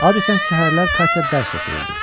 Adətən səhərlər Katya dərs oxuyurdu.